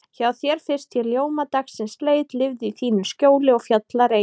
Hjá þér fyrst ég ljóma dagsins leit, lifði í þínu skjóli og fjallareit.